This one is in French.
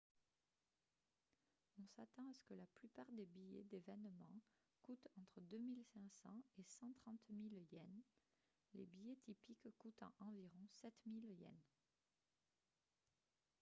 on s'attend à ce que la plupart des billets d'événements coûtent entre 2 500 et 130 000 yens les billets typiques coûtant environ 7 000 yens